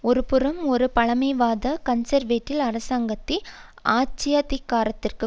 ஒரு புறம் ஒரு பழமைவாத கன்சர்வேட்டிவ் அரசாங்கத்தை ஆட்சியதிகாரத்திற்கு